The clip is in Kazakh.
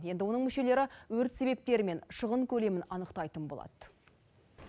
енді оның мүшелері өрт себептері мен шығын көлемін анықтайтын болады